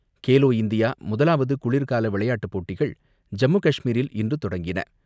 Khelo India முதலாவது குளிர்கால விளையாட்டுப் போட்டிகள் ஜம்மு காஷ்மீரில் இன்று தொடங்கின